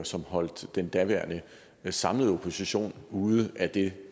som holdt den daværende samlede opposition ude af det